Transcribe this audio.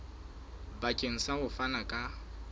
bakeng sa ho fana ka